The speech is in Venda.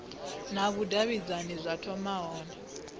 na vhudavhidzani zwa thoma hone